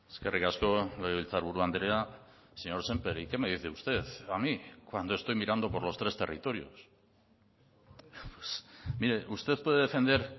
eskerrik asko legebiltzarburu andrea señor sémper y qué me dice usted a mi cuando estoy mirando por los tres territorios mire usted puede defender